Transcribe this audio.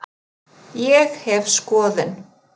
Ég hef skoðun.